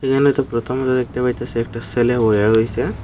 এখানেতো প্রথম যা দেখতে পাইতাছি একটা ছেলে বোইয়ে রইছে।